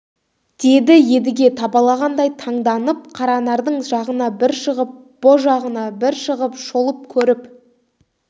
деді едіге табалағандай таңданып қаранардың жағына бір шығып бұ жағына бір шығып шолып көріп